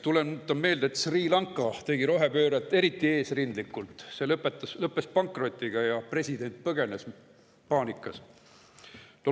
Tuletan meelde, et Sri Lanka tegi rohepööret eriti eesrindlikult, aga see lõppes pankrotiga ja president põgenes paanikas.